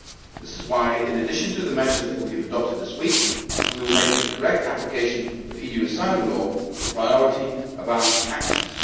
This is why, in addition to the measures that we have adopted this week, we will make the correct application of EU asylum law the priority of our actions.